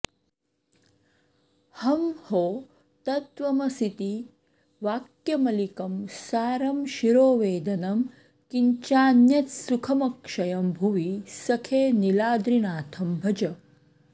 हंहो तत्त्वमसीति वाक्यमलिकं सारं शिरोवेदनं किञ्चान्यत्सुखमक्षयं भुवि सखे नीलाद्रिनाथं भज